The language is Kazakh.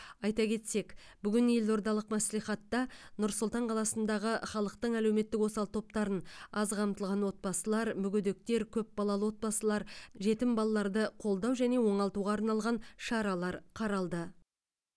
айта кетсек бүгін елордалық мәслихатта нұр сұлтан қаласындағы халықтың әлеуметтік осал топтарын аз қамтылған отбасылар мүгедектер көпбалалы отбасылар жетім балаларды қолдау және оңалтуға арналған шаралар қаралды